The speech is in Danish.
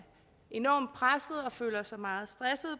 enormt presset og føler sig meget stresset